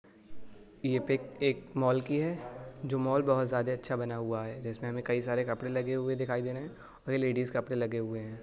ये पीक एक मॉल की है जो मॉल बहुत जादे अच्छा बना हुआ है जिसमें हमे कई सारे कपड़े लगे हुए दिखाई दे रहें औ ये लेडिस् कपड़े लगे हुए हैं।